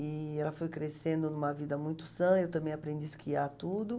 E ela foi crescendo em uma vida muito sã, eu também aprendi a esquiar tudo.